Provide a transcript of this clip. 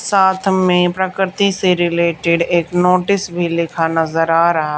साथ में प्रकृति से रिलेटेड एक नोटिस भी लिखा नजर आ रहा--